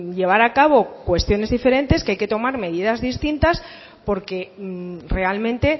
llevar a cabo cuestiones diferentes que hay que tomar medidas distintas porque realmente